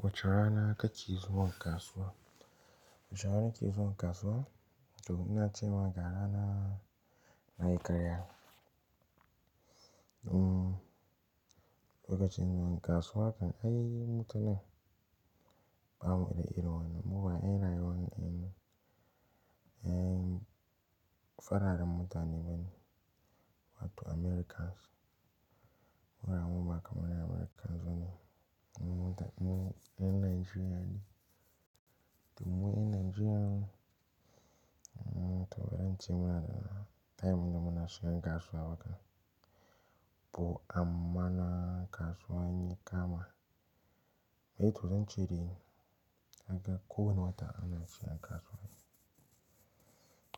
Wace rana kake zuwa kasuwa? Wace rana nake zuwa kasuwa? Toh ina ce ma ga rana, na yi karya. Um, lokacin zuwa kasuwa kam ai mutane ba mu da iri wannan. Muba irin rayuwan en, en, fararen mutane bane, wato Americans. Mu ba mu ba kaman yan Americans bane, mutanan, yan, yan Nigerian ne. Toh mu yan Nigerian, um, toh bari in ce mana, time da muna shigan kasuwa toh, amma kasuwa inya kama. Eh toh zan ce dai kaga ko wani wata ana shigan kasuwa.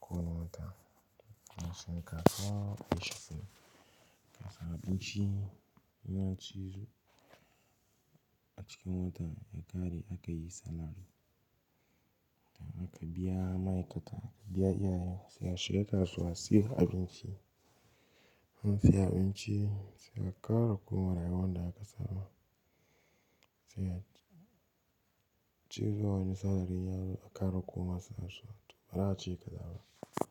Ko wane wata, ana shigan kasuwa ko da yaushe. Kasa abinci, in an ci a cikin wata yakare aka yi salari. A ka biya ma'aikata, a ka biya iyayen mu, sai shiga kasuwa siyan abinci. In an saya abinci, sai ya ƙara komawa rayuwan da aka saba. Sai ya ciro wani salari yazo q ƙara koma. Toh bari a ce ƙaza ba.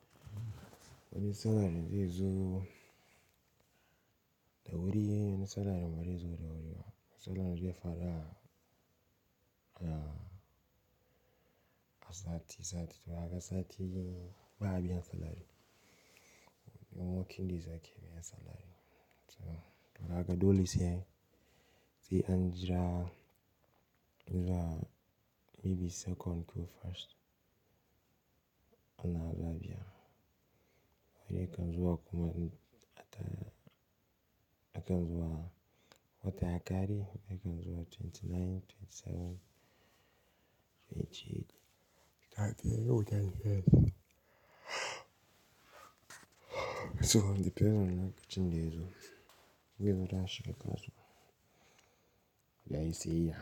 Wani salari zai zo, da wuri wani salari ba zai zo da wuri ba. Salari zai fada, a, a sati sati. Toh kaga sati ba a biyan salari. Ran working days ake biyan salari. Toh, kaga dole sai a, sai an jira, jira maybe second ko first, sannan za'a biya. Wani yakan zuwa kuma, a ta, yakan zuwa watan yakare, yakan zo a twenty nine, twenty seven, twenty eight. Da akai yau da an yi nan. So depending lokacin daya zo, zai zamanto ya shiga kasuwa, dan yayi siyeyya.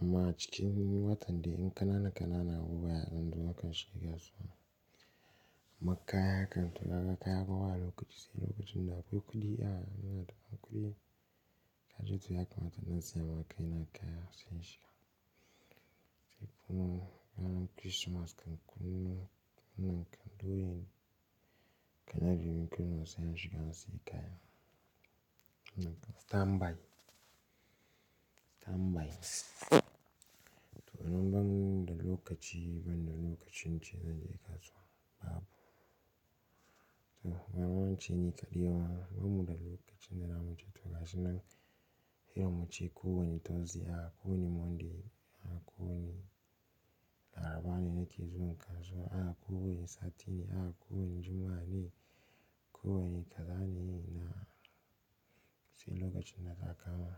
Amma cikin watan dai, yan kanana kanana abubuwa ya dan zo aka shiga kasuwa. Amma kaya haka, toh haka kaya fa ba lokaci sai lokacin da akwai kuɗi, a, nna da kuɗi. Haka dai to ya kamata na zama kai na kai han zor sai shiga. Sai kuma yana Christmas kan kunna, nan kan doyi, kan na biyu min kunna sai shigan sayi kaya. Nan standby. Standby, toh anan ban da lokaci, ban da lokacin ce zan je kasuwa, babu. Toh, amma wancan yi kaliya wa, bamu da lokacin da zamu ce to ka shigan. Hira mu ce ko wani Thursday, a ko wani Monday, a ko wani Larabanai na ke zuwa kasuwa, a ko wani Satini, a ko wani Jumma'a ne, ko wani Kazani ne, na sai lokacin na ka kama.